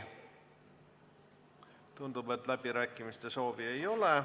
Tundub, et ka läbirääkimiste soovi ei ole.